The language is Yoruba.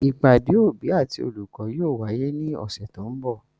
Ìpàdé òbí àti olùkọ́ yóò wáyé ní ọ̀sẹ̀ tó ń bọ̀.